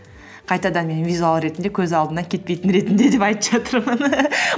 қайтадан мен визуал ретінде көз алдынан кетпейтін ретінде деп айтып жатырмын